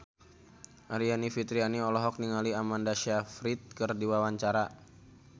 Aryani Fitriana olohok ningali Amanda Sayfried keur diwawancara